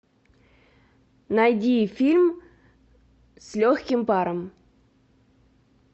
найди фильм с легким паром